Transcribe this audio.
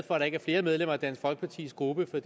for at der ikke er flere medlemmer af dansk folkepartis gruppe